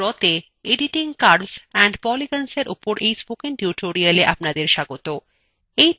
libreoffice drawতে editing curves and polygonsএর উপর এই spoken tutorialএ আপনাদের স্বাগত